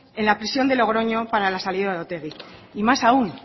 en la prisión de logroño para la salida de otegi y más aún